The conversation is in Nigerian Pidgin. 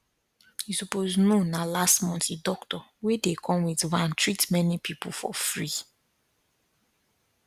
you suppose know na last month the doctor wey dey come with van treat many people for free